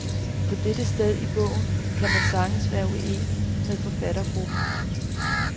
På dette sted i bogen kan man sagtens være uenig med forfattergruppen.